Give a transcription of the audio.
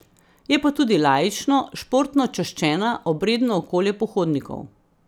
Je pa tudi laično, športno čaščena, obredno okolje pohodnikov.